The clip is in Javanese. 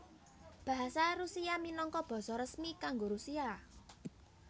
Basa Rusia minangka basa resmi kanggo Rusia